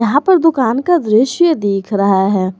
यहां पर दुकान का दृश्य दिख रहा है।